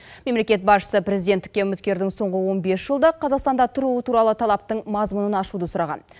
мемлекет басшысы президенттікке үміткердің соңғы он бес жылда қазақстанда тұруы туралы талаптың мазмұнын ашуды сұраған